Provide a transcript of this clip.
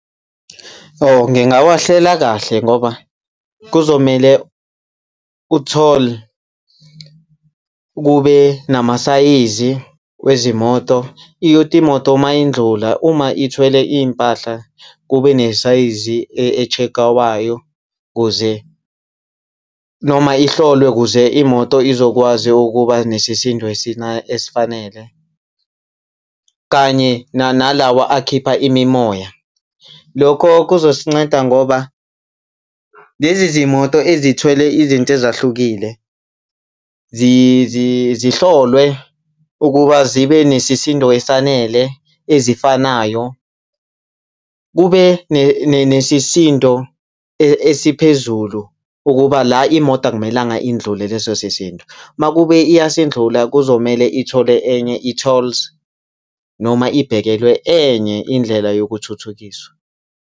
Oh, ngingawahlela kahle ngoba kuzomele ku-toll kube namasayizi wezimoto. Kuyothi imoto uma indlula uma ithwele iy'mpahla kube nesayizi e-check-wayo kuze noma ihlolwe kuze imoto izokwazi ukuba nesisindo esifanele kanye nalawa akhipha imimoya. Lokho kuzosinceda, ngoba lezi zimoto ezithunyelwe izinto ezahlukile zihlolwe ukuba zibe nesisindo esanele ezifanayo. Kube nesisindo esiphezulu ukuba la imoto akumelanga indlule leso sisindo. Uma kube iyasindlula, kuzomele ithole enye i-tolls noma ibhekelwe enye indlela yokuthuthukiswa.